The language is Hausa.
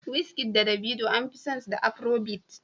Wizkid da Davido an fi san su da afiro bit